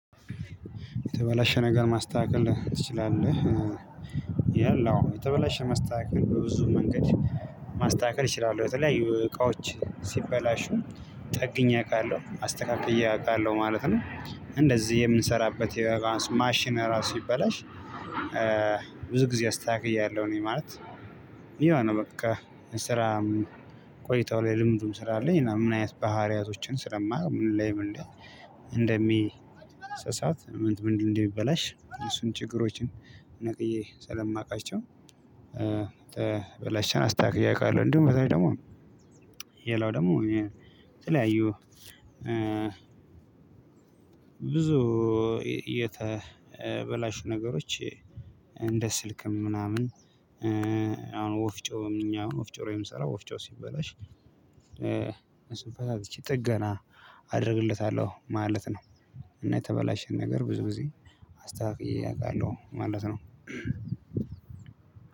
የተበላሸ ነገር ማስተካከል ትችላለህ? የለውም የተበላሸ ማስተካከል በብዙ መንገድ ማስተካከል እችላለሁ የተለያዩ እቃዎች ሲበላሹ ጠግኜ አውቃለሁ አስተካክዬ አውቃለሁ ማለት ነው እንደዚህ የምንሰራበት የባስ ማሽን ራሱ ሲበላሽ ብዙ ጊዜ አስተካክያለሁ እኔ ማለት ይሄው ነው በቃ ስራም ቆይተው ላይ ልምዱም ስላለኝ እና ምን አይነት ባሕሪያቶችን ስለማውቅ ምን ላይ ምን እንዴ እንደሚሰሳት ምን ምንድን እንደሚበላሽ እሱን ችግሮችን ነቅዬ ስለማውቃቸው የተበላሸን አስተካክየ አውቃለሁ እንዲሁም ከዚያ ውጭ ደግሞ የላው ደግሞ ተለያዩ ብዙ የተበላሹ ነገሮች እንደ ስልክም ምናምን አሁን ወፍጮ ምንኛ አሁን ወፍጮ ወይም ስራ ወፍጮ ሲበላሽ እንስሳት ይቺ ጥገና አደርግለታለሁ ማለት ነው እና የተበላሸ ነገር ብዙ ጊዜ አስተካክዬ አውቃለሁ ማለት ነው